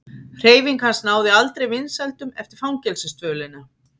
Hreyfing hans náði aldrei vinsældum eftir fangelsisdvölina.